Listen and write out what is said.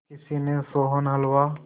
किसी ने सोहन हलवा